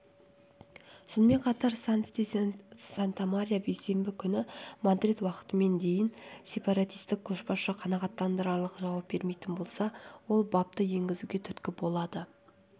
сонымен қатар санс де сантамаря бейсенбі күні мадрид уақытымен дейін сепаратистік көшбасшы қанағаттанарлық жауап бермейтін болса ол бапты енгізуге түрткі болады